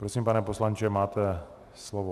Prosím, pane poslanče, máte slovo.